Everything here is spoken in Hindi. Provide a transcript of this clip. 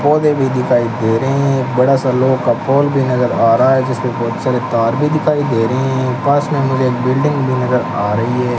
पौधे भी दिखाई दे रहे हैं बड़ा सा लोह का पॉल भी नज़र आ रहा है जिसमें बहुत सारे तार भी दिखाई दे रहे हैं पास में मुझे एक बिल्डिंग भी नज़र आ रही है।